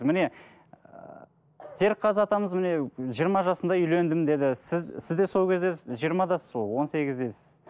міне серікқазы атамыз міне жиырма жасында үйлендім деді сіз сіз де сол кезде жиырмадасыз ғой он сегіздесіз